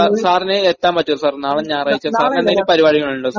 Sir, സാറിന് എത്താൻ പറ്റുമോ സർ? നാളെ ഞായറാഴ്ചയാണ്. സാറിന് എന്തെങ്കിലും പരുപാടികളുണ്ടോ സർ?